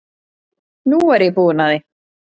Nú er ég búin að því.